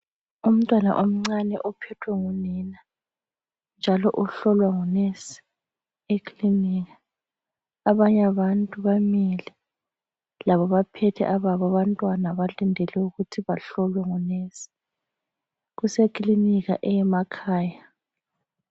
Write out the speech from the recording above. Umtwana omncane ophethwe ngunina, njalo uhlolwa ngunesi ekilinika. Abanye abantu bamile ,labo baphethe ababo abantwana balindele ukuthi behlolwe ngonesi. Kuse kilinika yemakhaya.